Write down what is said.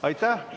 Aitäh!